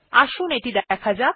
আসুন এটি দেখা যাক